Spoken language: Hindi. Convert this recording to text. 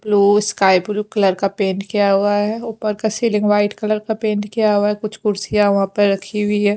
ब्लू स्काई ब्लू कलर का पेंट किया हुआ है ऊपर का सीलिंग वाइट कलर का पेंट किया हुआ है कुछ कुर्सियां वहां पर रखी हुई है।